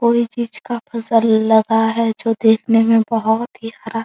कोई चीज का फसल लगा है जो देखने में बहोत ही हरा --